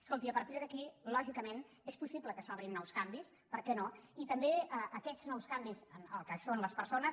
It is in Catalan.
escolti i a partir d’aquí lògicament és possible que s’obrin nous canvis per què no i també aquests nous canvis en el que són les persones